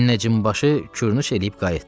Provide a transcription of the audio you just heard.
Münəccim başı kürnuş eləyib qayıtdı.